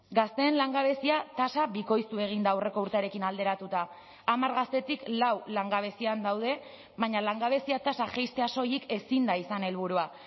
gazteen langabezia tasa bikoiztu egin da aurreko urtearekin alderatuta hamar gaztetik lau langabezian daude baina langabezia tasa jaistea soilik ezin da izan helburua